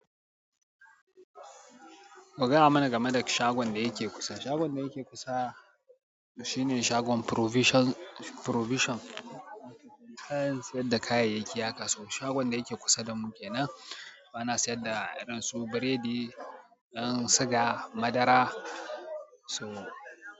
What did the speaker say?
Ku gaya muna game da shagon da yake kusa. Shagon da yake kusa shine shagon provision, shagon kayyayaki haka. Shagon da yake kusa da mu ke nan. Ana sayar da irin su biredi, ɗan siga, madara. So.